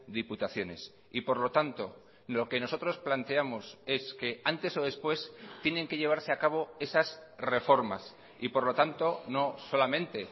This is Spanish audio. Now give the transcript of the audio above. diputaciones y por lo tanto lo que nosotros planteamos es que antes o después tienen que llevarse a cabo esas reformas y por lo tanto no solamente